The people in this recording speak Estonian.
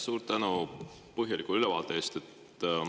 Suur tänu põhjaliku ülevaate eest!